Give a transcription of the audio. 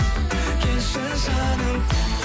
келші жаным